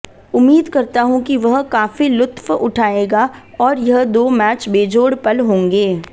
उम्मीद करता हूं कि वह काफी लुत्फ उठाएगा और यह दो मैच बेजोड़ पल होंगे